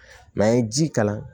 an ye ji kalan